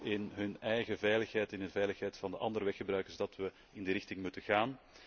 is in hun eigen veiligheid en in de veiligheid van de andere weggebruikers dat we in die richting moeten gaan.